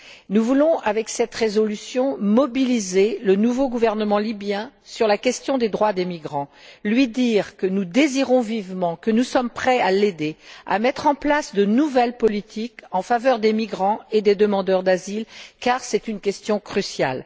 Nous voulons, avec cette résolution, mobiliser le nouveau gouvernement libyen sur la question des droits des migrants, lui dire que nous désirons vivement et que nous sommes prêts à l'aider à mettre en place de nouvelles politiques en faveur des migrants et des demandeurs d'asile, car c'est une question cruciale.